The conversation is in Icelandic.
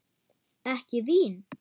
Ekki vín?